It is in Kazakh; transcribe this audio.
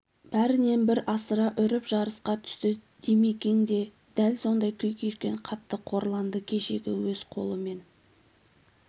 бірінен-бір асыра үріп жарысқа түсті димекең де дәл сондай күй кешкен қатты қорланды кешегі өз қолымен